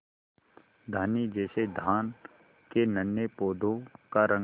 धानी जैसे धान के नन्हे पौधों का रंग